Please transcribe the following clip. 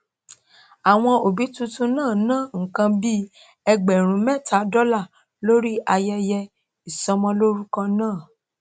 àwọn òbí tuntun náà ná nǹkan bí ẹgbèrún méta dólà lórí ayẹyẹ ìsọmọlórúkọ náà